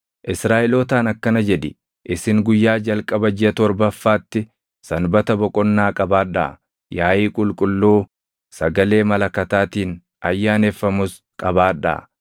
“Israaʼelootaan akkana jedhi; ‘Isin guyyaa jalqaba jiʼa torbaffaatti sanbata boqonnaa qabaadhaa; yaaʼii qulqulluu sagalee malakataatiin ayyaaneffamus qabaadhaa.